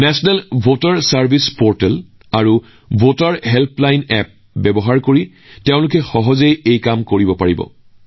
ৰাষ্ট্ৰীয় ভোটাৰ সেৱা পৰ্টেল আৰু ভোটাৰ হেল্পলাইন এপৰ জৰিয়তে অনলাইনযোগে সহজেই সম্পূৰ্ণ কৰিব পাৰিব